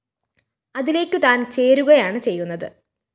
അതിലേക്കു താന്‍ ചേരുകയാണ് ചെയ്യുന്നത്